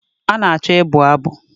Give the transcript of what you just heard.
A na-achọ ịbụ abụ